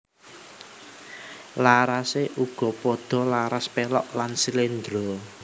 Larasé uga padha laras pélog lan sléndro